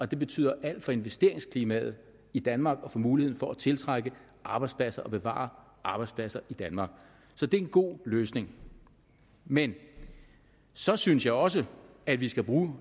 det betyder alt for investeringsklimaet i danmark og for muligheden for at tiltrække arbejdspladser og bevare arbejdspladser i danmark så det er en god løsning men så synes jeg også at vi skal bruge